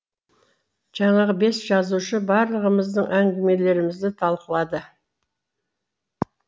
жаңағы бес жазушы барлығымыздың әңгімелерімізді талқылады